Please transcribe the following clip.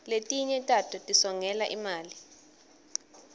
letinye tato tisongela imali